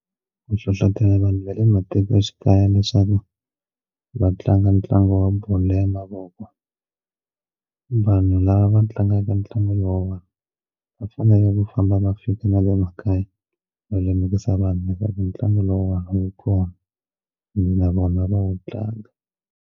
Ku hlohlotela vanhu va ematikoxikaya leswaku va tlanga ntlangu wa bolo ya mavoko vanhu lava va tlangaka ntlangu lowuwani va fanele ku famba va fika na le makaya va lemukisa vanhu leswaku ntlangu lowuwani wu kona na vona va wu tlanga.